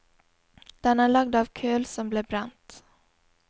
Den er lagd av køl som blir brent.